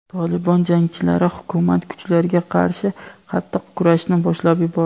"Tolibon" jangarilari hukumat kuchlariga qarshi qattiq kurashni boshlab yubordi.